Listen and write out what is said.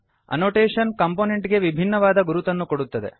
annotation component ಗೆ ವಿಭಿನ್ನವಾದ ಗುರುತನ್ನು ಕೊಡುತ್ತದೆ